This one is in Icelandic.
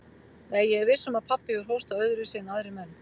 Nei, ég er viss um að pabbi hefur hóstað öðruvísi en aðrir menn.